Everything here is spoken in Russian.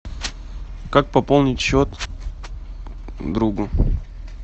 как пополнить счет другу